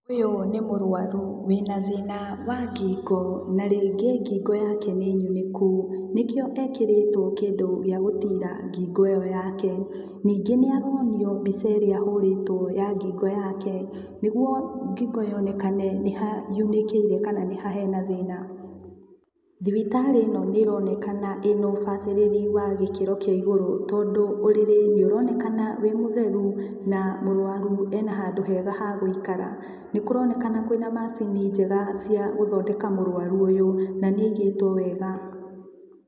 Ũyũ nĩ mũrwaru wĩna thĩna wa ngingo na rĩngĩ ngingo yake nĩnyunĩku nĩkio ekĩrĩtwo kĩndũ gia gũtira ngingo ĩyo yake ningĩ nĩaronio mbica ĩrĩa ahũrĩtwo ya ngingo yake nĩguo ngingo yonekana nĩha yunĩkĩire kana nĩ ha hena thĩna. Thibitarĩ ĩno nĩronekana ĩna ũbacĩrĩri wa gĩkĩro kia igũrũ tondũ ũrĩrĩ nĩoronekana wĩ mũtheru na mũrwaru ena handũ hega ha gũikara nĩkũronekana kwĩna macini njega cia gũthondeka mũrwaru ũyũ nanĩaigĩtwo wega